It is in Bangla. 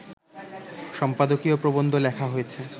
সম্পাদকীয় প্রবন্ধ লেখা হয়েছে